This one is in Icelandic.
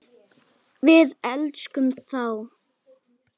Við elskum þá.